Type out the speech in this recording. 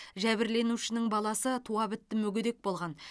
жәбірленушінің баласы туа бітті мүгедек болған